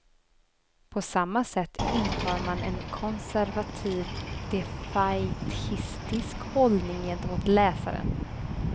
På samma sätt intar man en konservativt defaitistisk hållning gentemot läsaren.